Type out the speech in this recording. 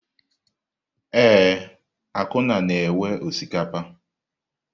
Ee, Akunna na-ewe osikapa.